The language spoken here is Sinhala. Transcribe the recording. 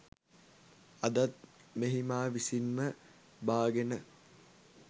අදත් මෙහි මා විසින්ම බාගෙන